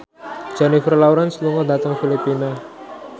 Jennifer Lawrence lunga dhateng Filipina